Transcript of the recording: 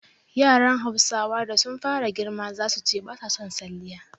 Yaran Hausawa da sun fara girma zasu ce ba sa son salliya